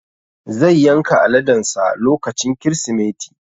Zai yanka aladen sa lokacin Kirsimeti